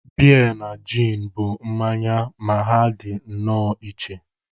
Beer na gin bụ mmanya ma ha dị nnọọ iche